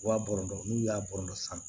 Wa bolonɔ n'u y'a bolonɔn san